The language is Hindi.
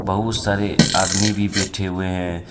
बहुत सारे आदमी भी बैठे हुवे हैं।